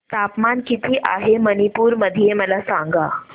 तापमान किती आहे मणिपुर मध्ये मला सांगा